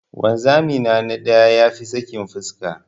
Wanzami na na da ya fi sakin fuska.